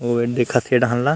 अऊ एद देखत ए डाहन ल--